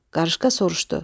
Qarışqa soruşdu: